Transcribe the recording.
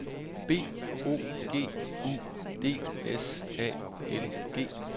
B O G U D S A L G